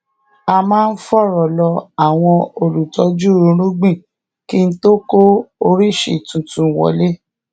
a máa fòrò lọ àwọn olùtójú irúgbìn kí tó kó oríṣi tuntun wọlé